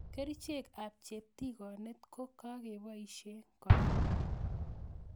kerichek ab cheptigonet ko kakeboishe kora